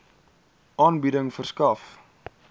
aanbieding verskaf